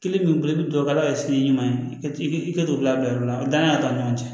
Kelen b'i bolo i bɛ dugawu kɛ ala ka sini ɲuman ye i ka i ka don bila bila yɔrɔ la danaya t'an ni ɲɔgɔn cɛ